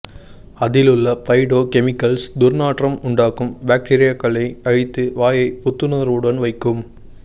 அதிலுள்ள phytochemicals துர்நாற்றம் உண்டாக்கும் பாக்டீரியாக்களை அழித்து வாயை புத்துணர்வுடன் வைக்கும்